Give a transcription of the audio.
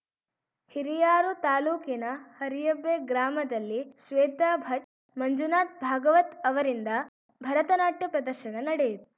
ಹಿರಿಯಾರು ತಾಲೂಕಿನ ಹರಿಯಬ್ಬೆ ಗ್ರಾಮದಲ್ಲಿ ಶ್ವೇತಾ ಭಟ್‌ ಮಂಜುನಾಥ್‌ ಭಾಗವತ್‌ ಅವರಿಂದ ಭರತ ನಾಟ್ಯ ಪ್ರದರ್ಶನ ನಡೆ